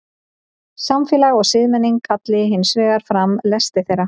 samfélag og siðmenning kalli hins vegar fram lesti þeirra